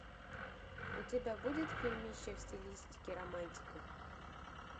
у тебя будет фильмище в стилистике романтика